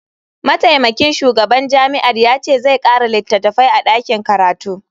Mataimakin shugaban jami'ar ya ce zai kara litattafai a dakin karatu.